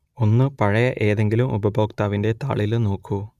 ഒന്ന് പഴയ ഏതെങ്കിലും ഉപഭോക്താവിന്റെ താളിൽ നോക്കൂ